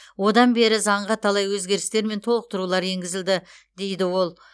одан бері заңға талай өзгерістер мен толықтырулар енгізілді дейді ол